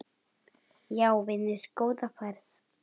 Já vinur, góða ferð!